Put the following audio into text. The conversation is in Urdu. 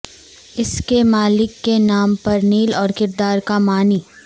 اس کے مالک کے نام پر نیل اور کردار کا معنی